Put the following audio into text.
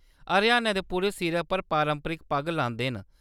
हरियाणा दे पुरश सिरै पर पारंपरिक पग्ग लांदे न।